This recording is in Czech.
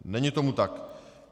Není tomu tak.